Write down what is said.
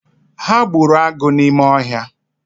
Ha gbụrụ agụ n’ime ọhia